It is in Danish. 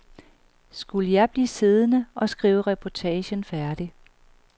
Skulle jeg blive siddende og skrive reportagen færdig?